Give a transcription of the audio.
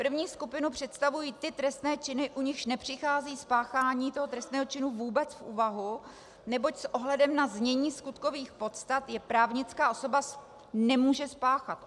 První skupinu představují ty trestné činy, u nichž nepřichází spáchání toho trestného činu vůbec v úvahu, neboť s ohledem na znění skutkových podstat je právnická osoba nemůže spáchat.